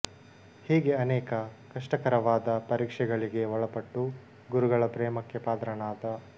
ಹೀಗೆ ಅನೇಕ ಕಷ್ಟಕರವಾದ ಪರೀಕ್ಷೆಗಳಿಗೆ ಒಳಪಟ್ಟು ಗುರುಗಳ ಪ್ರೇಮಕ್ಕೆ ಪಾತ್ರನಾದ